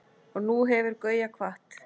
Og nú hefur Gauja kvatt.